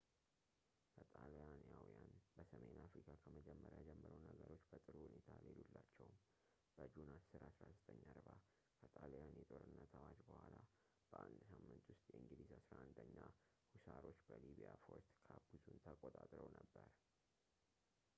ለጣሊያናውያን በሰሜን አፍሪካ ከመጀመሪያው ጀምሮ ነገሮች በጥሩ ሁኔታ አልሄዱላቸውም በጁን 10 1940 ከጣሊያን የጦርነት አዋጅ በኋላ በአንድ ሳምንት ውስጥ የእንግሊዝ 11ኛ ሁሳሮች በሊቢያ ፎርት ካፑዞን ተቀጣጥረው ነበር